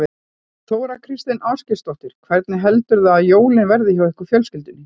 Þóra Kristín Ásgeirsdóttir: Hvernig heldurðu að jólin verði hjá ykkur fjölskyldunni?